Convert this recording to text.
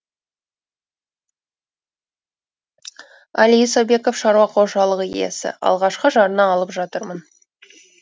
әли исабеков шаруақожалығы иесі алғашқы жарна алып жатырмын